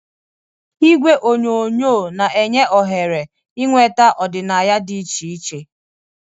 Igwe onyonyo na-enye ohere ịnweta ọdịnaya dị iche iche.